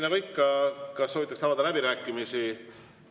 Nagu ikka, kas soovitakse avada läbirääkimisi?